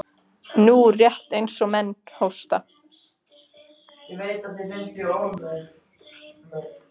Hún var með ljótt ör þvert yfir hálsinn.